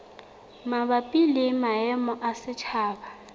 mabapi le maemo a setjhaba